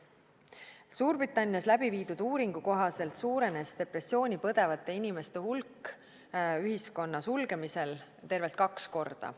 Suurbritannias läbiviidud uuringu kohaselt suurenes depressiooni põdevate inimeste hulk ühiskonna sulgemisel tervelt kaks korda.